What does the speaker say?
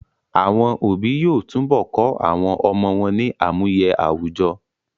Àwọn òbí yóò tún bọ kọ́ àwọn ọmọ wọ́n ní àmúye àwùjọ